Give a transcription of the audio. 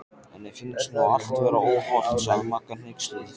Henni finnst nú allt vera óhollt sagði Magga hneyksluð.